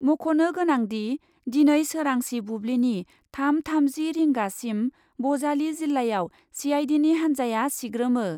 मख'नो गोनांदि, दिनै सोरांसि बुब्लिनि थाम थामजि रिंगासिम बजालि जिल्लायाव सिआइडिनि हान्जाया सिग्रोमो।